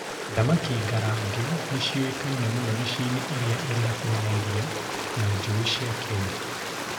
Thamaki ngarange nĩcioĩkaine mũno mĩciĩ-inĩ ĩrĩa ĩrĩ hakuhĩ na iria na njũũĩ cia Kenya.